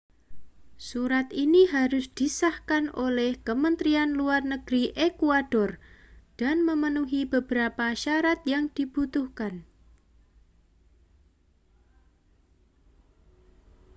surat ini harus disahkan oleh kementerian luar negeri ekuador dan memenuhi beberapa syarat yang dibutuhkan